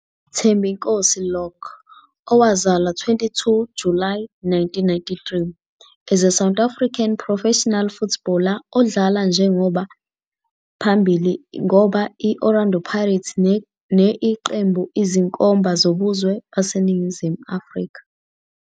Thembinkosi Lorch, owazalwa 22 July 1993, is a South African professional footballer odlala njengoba phambili ngoba i-Orlando Pirates ne iqembu izinkomba zobuzwe baseNingizimu Afrika.